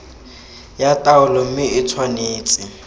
ya taolo mme e tshwanetse